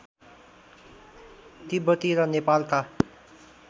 तिब्बती र नेपालका